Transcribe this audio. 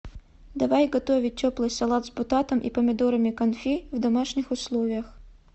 давай готовить теплый салат с бататом и помидорами конфи в домашних условиях